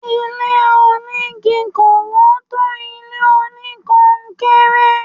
Ilé onígi kò wọ́n tó ilé oníkọnkéré.